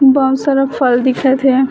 बहुत सारा फल दिखत हे।